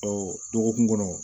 dɔgɔkun kɔnɔ